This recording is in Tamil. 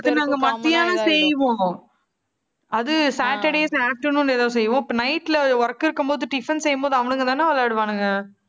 அது நாங்க மத்தியானம் செய்வோம். அது saturdays afternoon ன்னு ஏதோ செய்வோம். இப்ப night ல work இருக்கும்போது tiffin செய்யும்போது அவனுங்கதானே விளையாடுவானுங்க